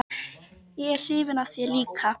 Ég er hrifin af þér líka.